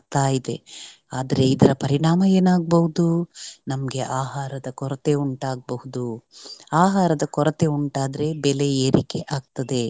ಇದೆ ಆದರೆ ಇದರ ಪರಿಣಾಮ ಏನಾಗ್ಬಹುದು ನಮ್ಗೆ ಆಹಾರದ ಕೊರತೆ ಉಂಟಾಗ್ಬಹುದು ಆಹಾರದ ಕೊರತೆ ಉಂಟಾದ್ರೆ ಬೆಲೆ ಏರಿಕೆ ಆಗ್ತದೆ.